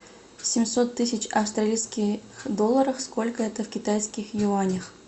семьсот тысяч австралийских долларов сколько это в китайских юанях